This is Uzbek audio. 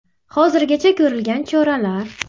Hozirgacha ko‘rilgan choralar.